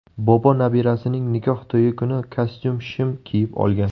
Bobo nabirasining nikoh to‘yi kuni kostyum-shim kiyib olgan.